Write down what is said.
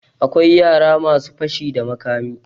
Akwai yara masu yin fashi da makami.